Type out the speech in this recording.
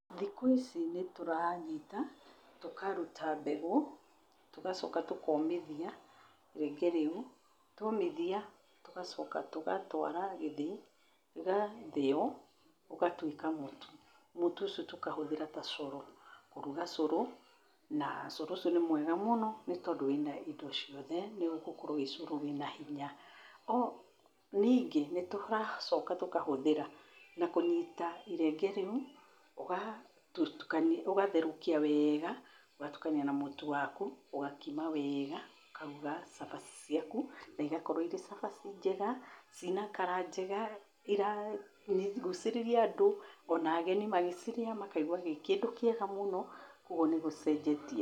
Thĩkũ ici nĩ tũranyita, tũkaruta mbegũ, tũgacoka tũkomithia irenge reu. Twomithia, tũgacoka tũgatwara gĩthĩi ũgatheĩo ũgatũĩka mũtũ, mũtũ ũcio tũkahũthĩra ta curũ kũrũga curũ na curũ ũcio nĩ mwega mũno nĩ tondũ wĩna indo ciothe nĩ ũgũkorwo wĩ curũ wĩna hinya. Ningĩ nĩ tũracoka tũkahũthĩra na kũnyita irenge reũ ũgatherũkia weega ũgatukania na mũtũ waku ũgakima weega ũkaruga cabaci ciaku na ĩgakorwo ĩrĩ cabaci njega ci na kara njega ĩra gũcirĩria andũ ona ageni magĩcirĩa makaĩgwa gĩ kĩndũ kĩega mũno, ũgũo nĩ gũcenjetie.